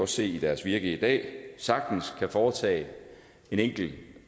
se i deres virke i dag sagtens kan foretage en enkel